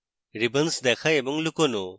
ribbons দেখা এবং লুকোনো